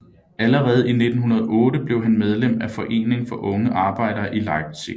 Allerede i 1908 blev han medlem af en forening for unge arbejdere i Leipzig